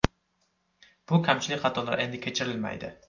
Bu kamchilik-xatolar endi kechirilmaydi.